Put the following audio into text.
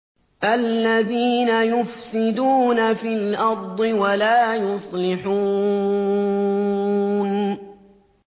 الَّذِينَ يُفْسِدُونَ فِي الْأَرْضِ وَلَا يُصْلِحُونَ